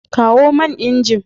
Kawo man inji.